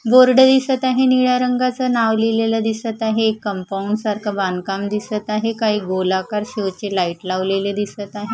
Board दिसत आहे निळ्या रंगाचं नाव लिहिलेला दिसत आहे एक कंपाउंड सारखा बांधकाम दिसत आहे काही गोलाकार शो चे लाईट लावलेले दिसत आहे.